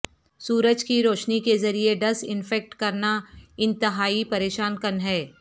سورج کی روشنی کے ذریعے ڈس انفیکٹ کرنا انتہائی پریشان کن ہے